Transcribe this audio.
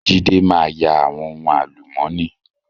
Jídé máa ya àwọn ohun àlùmọ́ọ́nì.